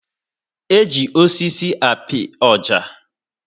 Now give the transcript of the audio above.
Eji osisi api oja